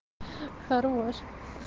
хорош